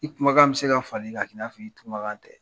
I kumakan bɛ se ka fali k'a k'i n'a fɔ i kumakan tɛ.